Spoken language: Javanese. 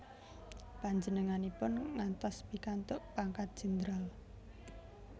Panjenenganipun ngantos pikantuk pangkat jendral